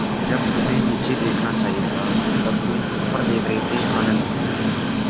जब तुम्हें नीचे देखना चाहिए था तब तुम ऊपर देख रहे थे आनन्द